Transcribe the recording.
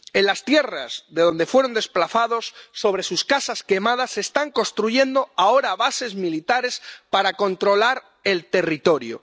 En las tierras de donde fueron desplazados, sobre sus casas quemadas, se están construyendo ahora bases militares para controlar el territorio.